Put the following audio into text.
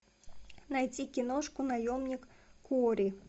найти киношку наемник куорри